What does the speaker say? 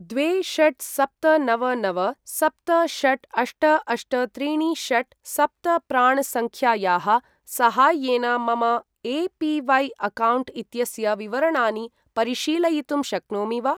द्वे षट् सप्त नव नव सप्त षट् अष्ट अष्ट त्रीणि षट् सप्त प्राण् सङ्ख्यायाः साहाय्येन मम ए.पी.वै.अकौण्ट् इत्यस्य विवरणानि परिशीलयितुं शक्नोमि वा?